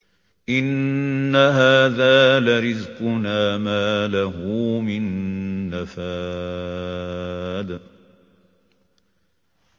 إِنَّ هَٰذَا لَرِزْقُنَا مَا لَهُ مِن نَّفَادٍ